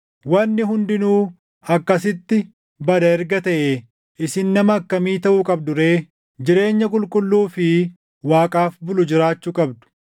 Wanni hundinuu akkasitti bada erga taʼee, isin nama akkamii taʼuu qabdu ree? Jireenya qulqulluu fi Waaqaaf bulu jiraachuu qabdu;